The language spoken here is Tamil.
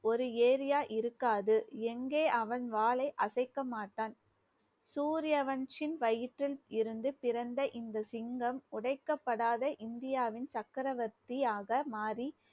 ஒரு area இருக்காது. எங்க அவன் வாளை அசைக்க மாட்டான். சூரியவன் சின் வயிற்றில் இருந்து பிறந்த இந்த சிங்கம், உடைக்கப்படாத இந்தியாவின் சக்கரவர்த்தியாக மாறி